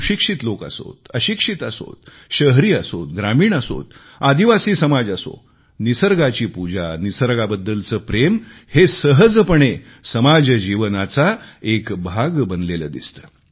सुशिक्षित लोक असोत अशिक्षित असोत शहरी असोत ग्रामीण असोत आदिवासी समाज असो निसर्गाची पूजा निसर्गाबद्दलचे प्रेम हे सहजपणे समाजजीवनाचा एक भाग बनलेले दिसते